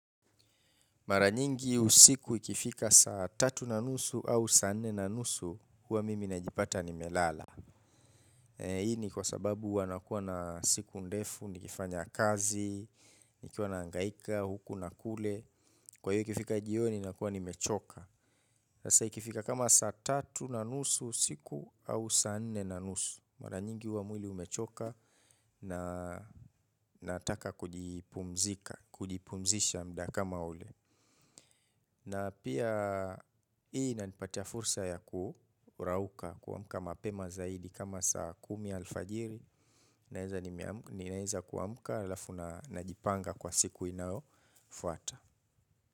Mara nyingi usiku ikifika saa tatu na nusu au saa nne na nusu huwa mimi najipata nimelala. Hii ni kwa sababu huwa nakua na siku ndefu, nikifanya kazi, nikiwa nangaika, huku na kule. Kwa hiyo ikifika jioni nakua nimechoka. Sasa ikifika kama saa tatu nanusu, siku au saa nne nanusu. Mara nyingi huwa mwili umechoka na nataka kujipumzika, kujipumzisha muda kama ule. Na pia hii inanipatia fursa ya kurauka kuamuka mapema zaidi kama saa kumi alfajiri nimeweza kuamka alafu najipanga kwa siku inayofuata.